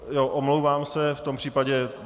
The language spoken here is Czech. Omlouvám se v tom případě.